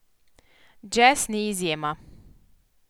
Džez ni izjema.